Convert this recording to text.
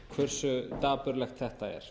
hverju dapurlegt þetta er